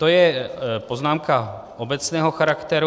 To je poznámka obecného charakteru.